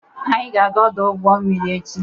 Anyị ga-aga ọdụ ụgbọ mmiri echi.